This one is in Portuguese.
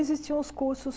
Existiam os cursos...